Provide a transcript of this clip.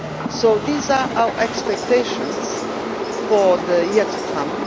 So these are our expectations for the year to come.